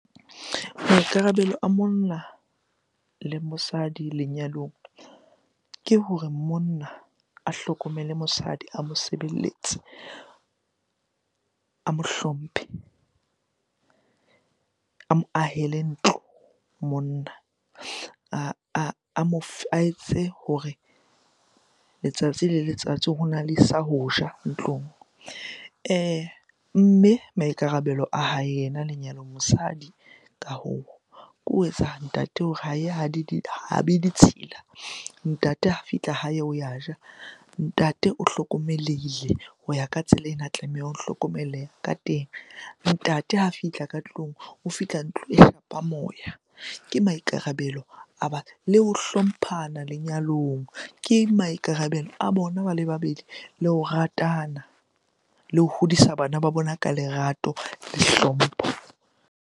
Maikarabelo a monna le mosadi lenyalong ke hore monna a hlokomele mosadi, a mosebeletse, a mo hlomphe, a mo ahele ntlo monna, a etse hore letsatsi le letsatsi hona le sa ho ja ntlong. Mme maikarabelo a hae yena lenyalong, mosadi ka hoo. Ke ho etsa ntate hore ha be ditshila, ntate ha fihla hae o ya ja, ntate o hlokomelehile ho ya ka tsela ena tlameha o hlokomeleha ka teng. Ntate ha fihla ka tlung, o fihla ntlo e moya. Ke maikarabelo a le ho hlomphana lenyalong ke maikarabelo a bona ba le babedi. Le ho ratana le ho hodisa bana ba bona ka lerato le hlompho.